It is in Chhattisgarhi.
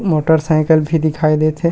मोटर सायकल भी दिखाई देत हे।